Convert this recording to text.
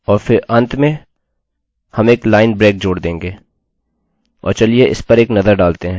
और अंत में हम एक लाइन ब्रेक जोड़ देंगे और चलिए इस पर एक नज़र डालते हैं